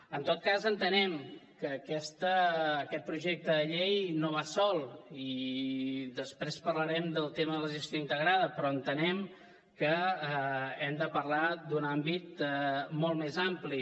en tot cas entenem que aquest projecte de llei no va sol i després parlarem del tema de la gestió integrada però entenem que hem de parlar d’un àmbit molt més ampli